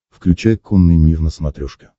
включай конный мир на смотрешке